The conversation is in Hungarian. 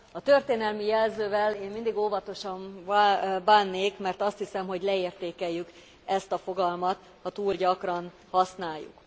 A történelmi jelzővel én mindig óvatosan bánnék, mert azt hiszem, hogy leértékeljük ezt a fogalmat, ha túl gyakran használjuk.